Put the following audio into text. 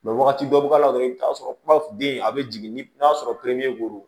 wagati dɔ bi k'a la dɔrɔn i bi t'a sɔrɔ kuma den a bɛ jigin ni n'a sɔrɔ